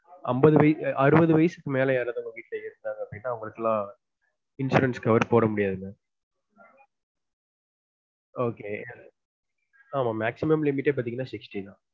அம்பது வயசு அறுபது வயசுக்கு மேல உங்க வீட்ல யாராவது இருந்தாங்க அப்டினா அவங்களுக்கு எல்லான் insurance cover போட முடியாது mam ok maximum limit பாத்தீங்கனா sixty தான்